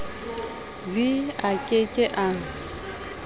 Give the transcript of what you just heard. v a ke ke a